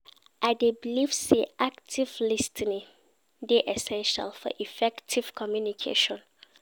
I dey believe say active lis ten ing dey essential for effective communication.